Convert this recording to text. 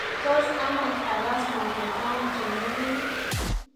Tos amach agas mototaun chengering